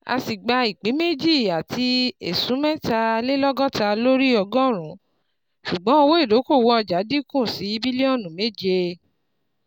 A sì gba ìpín méjì àti esun metalelogota lórí ọgọrun, ṣùgbọ́n owó idokowo ọjà dínkù sí bilionu méje.